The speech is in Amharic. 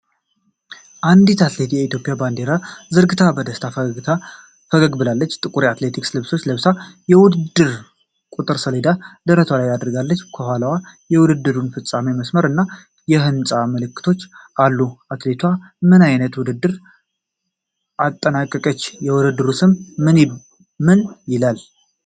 አንዲት አትሌት የኢትዮጵያን ባንዲራ ዘርግታ በደስታ ፈገግ ብላለች። ጥቁር የአትሌቲክስ ልብስ ለብሳ፣ የውድድር ቁጥር ሰሌዳ ደረቷ ላይ አድርጋለች። ከኋላዋ የውድድሩን ፍጻሜ መስመር እና የሕንጻ ምልክቶች አሉ። አትሌቷ ምን አይነት ውድድር አጠናቀቀች? የውድድሩ ስም ምን ይላል?